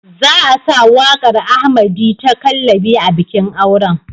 Za a sa waƙar Ahmerdy ta "Kallabi" a bikin auren.